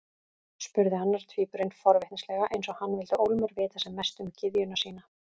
spurði annar tvíburinn forvitnislega, eins og hann vildi ólmur vita sem mest um gyðjuna sína.